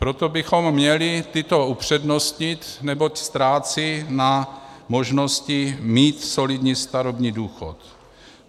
Proto bychom měli tyto upřednostnit, neboť ztrácí na možnosti mít solidní starobní důchod.